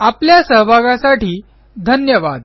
आपल्या सहभागासाठी धन्यवाद